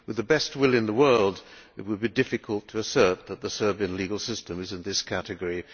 With the best will in world it would be difficult to assert that the Serbian legal system is in this category.